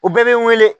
U bɛɛ bɛ n wele